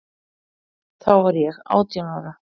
Þá var ég átján ára.